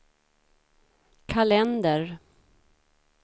kalender